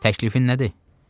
Təklifin nədir?